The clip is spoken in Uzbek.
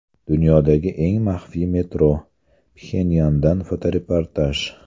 Dunyodagi eng maxfiy metro: Pxenyandan fotoreportaj.